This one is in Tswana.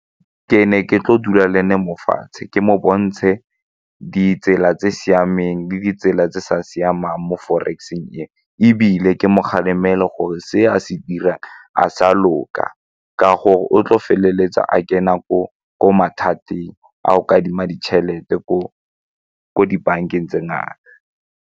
Ke ne ke tlo dula le ne mo fatshe ke mo bontshe ditsela tse di siameng le ditsela tse di sa siamang mo forex-seng e ebile ke mo kgalemele gore se a se dirang a sa loka ka gore o tlo feleletsa a kena ko mathateng a go kadima ditšhelete ko dibankeng tse ngata.